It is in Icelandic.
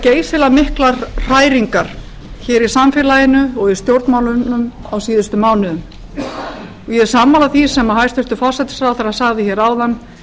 geysilega miklar hræringar hér í samfélaginu og í stjórnmálunum á síðustu mánuðum og ég er sammála því sem hæstvirtur forsætisráðherra sagði hér áðan